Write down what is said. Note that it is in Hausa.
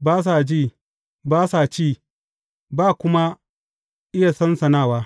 ba sa ji, ba sa ci, ba kuma iya sansanawa.